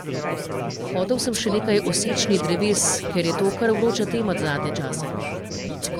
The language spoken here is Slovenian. Hotel sem še nekaj o sečnji dreves, ker je to kar vroča tema zadnje čase.